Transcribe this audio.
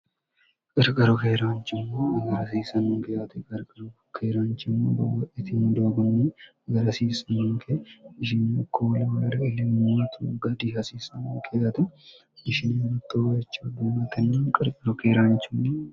qirgaro keeraanchimmo agarhasiisanninke aati gargaro bukkeeraanchimmo bawa'etimidoagani agarhasiis ninke sinekoola malari ilimmat gadihasiisanonke ate ishinemittowacha duumatenna qirqaro keeraanchinni